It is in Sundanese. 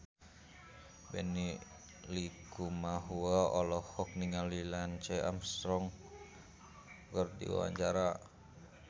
Benny Likumahua olohok ningali Lance Armstrong keur diwawancara